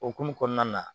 Okumu kɔnɔna na